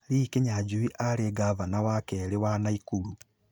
Lee Kinyanjui aarĩ ngavana wa keerĩ wa Naikuru